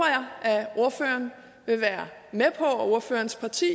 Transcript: ordføreren og ordførerens parti